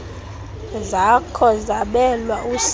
zakho zabelwa usapho